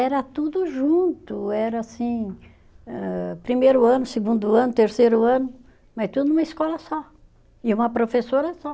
Era tudo junto, era assim, âh primeiro ano, segundo ano, terceiro ano, mas tudo numa escola só, e uma professora só.